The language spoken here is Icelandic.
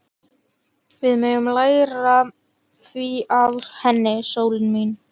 Við megum læra það af henni, sólin mín.